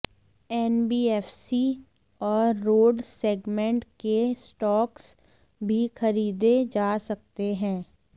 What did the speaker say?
NBFC और road segment के स्टॉक्स भी खरीदे जा सकते हैं